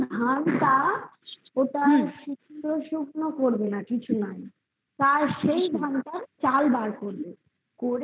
ওই নতুন ধান তা সিদ্ধ শুকনো করবে না কিছু না আর সেই ধানটা চাল বার করবে